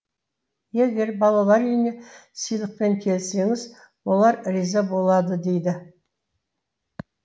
егер балалар үйіне сыйлықпен келсеңіз олар риза болады дейді